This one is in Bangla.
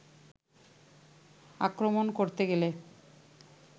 আক্রমণ করতে গেলে